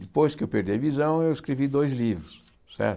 Depois que eu perdi a visão, eu escrevi dois livros, certo?